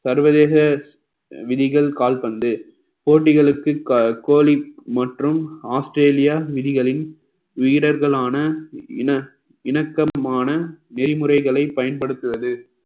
சர்வதேச விதிகள் கால்பந்து போட்டிகளுக்கு கோலி மற்றும் ஆஸ்திரேலியா விதிகளின் வீரர்களான இன~ இணக்கமான நெறிமுறைகளை பயன்படுத்துவது